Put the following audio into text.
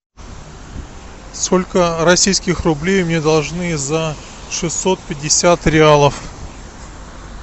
сколько российских рублей мне должны за шестьсот пятьдесят реалов